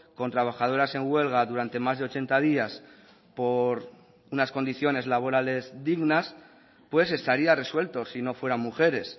con trabajadoras en huelga durante más de ochenta días por unas condiciones laborales dignas pues estaría resuelto si no fueran mujeres